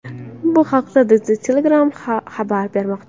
Bu haqda The Telegraph xabar bermoqda .